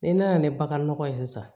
Ni n nana ni bagan nɔgɔ ye sisan